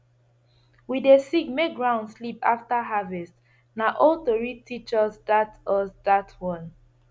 we dey sing make ground sleep after harvest na old tori teach us that us that one